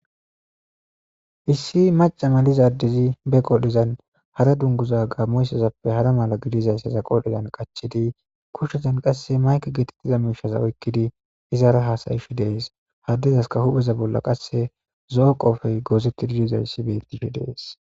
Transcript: Issi maca malizaddezi be qodhizan hara dunguza gaammoyssazappe hara mala gidizayssaza qodhezan qachidi kushizan qasse mayke getettiza miishaza oykkidi izara haasayishi dees haddezaska hupheza bolla qasse zo'o qoofey goozetti didizayssi bettishi dees.